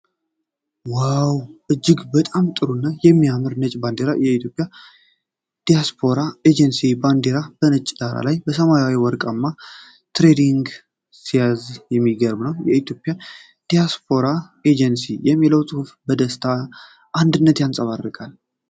ዋው! እጅግ በጣም ጥሩ እና የሚያምር ነጭ ባንዲራ! የኢትዮጵያ ዳያስፖራ ኤጀንሲ ባንዲራ በነጭ ዳራ ላይ ሰማያዊና ወርቃማ ትሪያንግል ሲይዝ የሚገርም ነው። "የኢትዮጵያ ዳያስፖራ ኤጀንሲ" የሚለው ጽሑፍ ደስታንና አንድነትን ያንጸባርቃል።